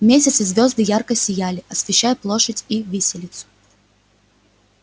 месяц и звёзды ярко сияли освещая площадь и виселицу